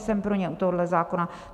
Jsem pro ně u tohohle zákona.